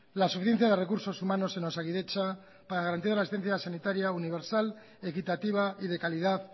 la suficiencia de recursos humanos en osakidetza para garantizar la asistencia sanitaria universal equitativa y de calidad